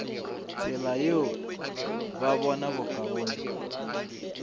tsela yeo ba bona bokaone